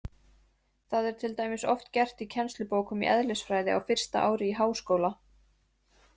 Það er til dæmis oft gert í kennslubókum í eðlisfræði á fyrsta ári í háskóla.